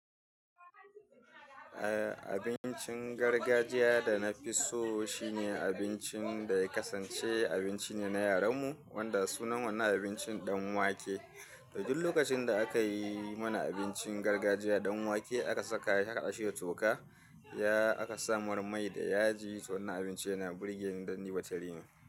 Eh, abincin gargajiya da na fi so shine abincin da ya kasance abinci ne na yaranmu wanda sunan wannan abincin ɗan wake. Da duk lokacin da aka yi mana abincin gargajiya ɗan wake aka saka shi aka haɗa shi da toka, ya aka samar mai da yaji to wannan abinci yana burge ni don ni batarine.